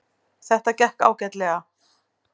Þetta gekk ágætlega